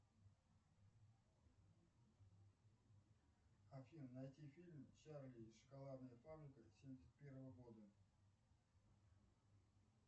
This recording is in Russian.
афина найти фильм чарли и шоколадная фабрика семьдесят первого года